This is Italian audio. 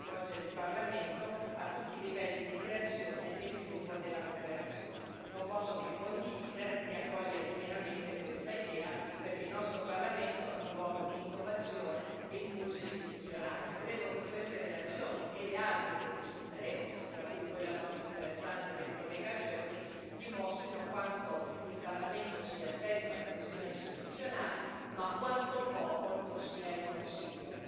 Dicevo che la relazione sottolinea inoltre la necessità di coinvolgere il Parlamento a tutti i livelli di creazione e sviluppo della cooperazione. Non posso che condividere e accogliere pienamente questa idea, perché il nostro Parlamento è un luogo di innovazione e impulso istituzionale. Credo che queste relazioni e le altre che discuteremo, tra cui quella molto interessante del collega Schöpflin, dimostrino quanto il Parlamento sia attento alle questioni istituzionali, ma quanto poco lo sia il Consiglio.